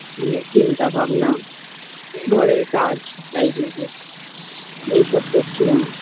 অনেক চিন্তা ভাবনা ঘরের কাজ তাই জন্য এই সব করছিলাম